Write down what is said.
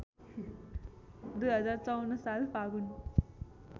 २०५४ साल फागुन